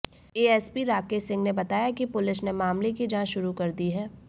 ASP Rakesh Singh ने बताया कि पुलिस ने मामले की जांच शुरू कर दी है